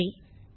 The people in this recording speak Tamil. நன்றி